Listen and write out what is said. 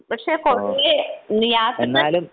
പക്ഷേ പൊതുവേ യാത്രകൾ